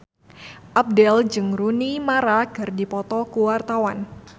Abdel jeung Rooney Mara keur dipoto ku wartawan